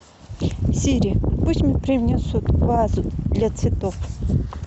сири пусть мне принесут вазу для цветов